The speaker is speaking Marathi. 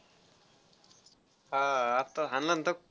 हा आह आत्ता हाणल तर.